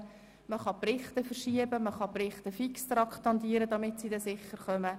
Man kann die Berichte verschieben oder diese fix traktandieren, damit sie sicher behandelt werden.